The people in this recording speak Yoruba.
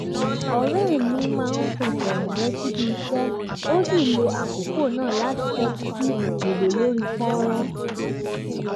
ọ̀rẹ́ mi máa ń fẹsẹ̀ rìn lọ síbi iṣẹ́ ó sì lo àkókò náà láti tẹ́tí sí ìwé lórí fọ́nrán